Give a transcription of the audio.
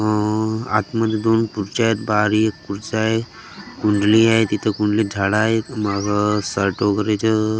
अअ आतमध्ये दोन खुर्च्या आहेत बाहेर एक खुर्ची आहे कुंडली आहे तिथं कुंडलीत झाड आहे मग --